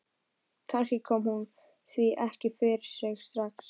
Kannski kom hún því ekki fyrir sig strax.